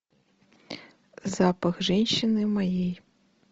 запах женщины моей